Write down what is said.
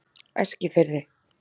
Eskifirði